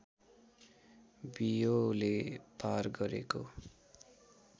बियोले पार गरेको